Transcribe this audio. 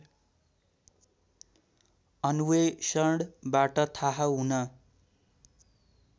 अन्वेषणबाट थाहा हुन